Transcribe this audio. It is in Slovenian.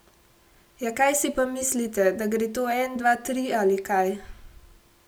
Ja kaj si pa mislite, da gre to en dva tri ali kaj?